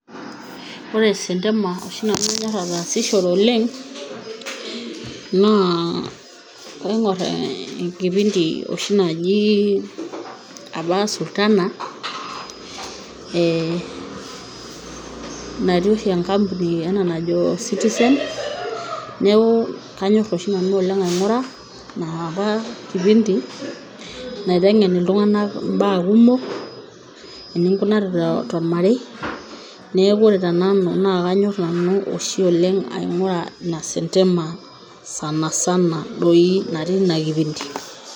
Ore esentema oshi nanu nayor ataasishore oleng' naa kaing'or enkipindi oshi naji apa Sultana, nati oshi enkampuni e najo Citizen. Neeku kanyor oshi nanu oleng' aing'ura ina apa kipindi naiteng'en iltung'anak mbaa kumok, eninkunari tormarei. Neeku ore te nanu kanor nanu oshi oleng' aing'ura ina sentema doi natii ina kipindi.